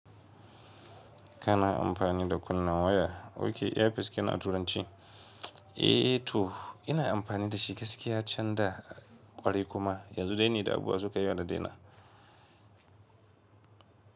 Kana amfani da kunna waya? Oke, ear piece kenan a turanci? Eh to, ina amfani da shi gaskiya can da ƙwarai kuma yanzu dai ne da abubuwa su kai yawa da daina.